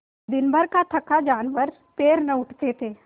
दिनभर का थका जानवर पैर न उठते थे